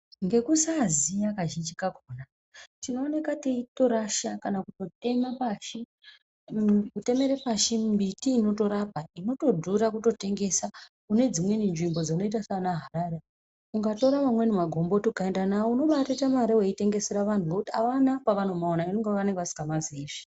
Ngekusaziya kazhinji kakona tinooneka teitorasha kana kutemere pashi miti unotorapa inotodhura kutotengesa Kune dzimweni nzvimbo dzakaita sana Harare ukatore mamweni magomboto ukaenda nawo unombatoita mari weitengesere vanhu ngekuti avana kwavanomaona ngekunga vasikamaziizvi.